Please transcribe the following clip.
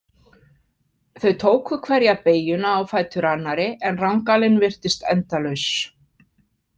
Þau tóku hverja beygjuna á fætur annarri en rangalinn virtist endalaus.